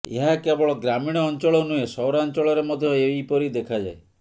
ଏହା କେବଳ ଗ୍ରାମୀଣ ଅଂଚଳ ନୁହେଁ ସହରାଂଚଳରେ ମଧ୍ୟ ଏହିପରି ଦେଖାଯାଏ